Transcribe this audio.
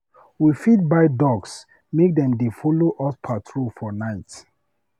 We fit buy dogs make dem dey follow us patrol for night.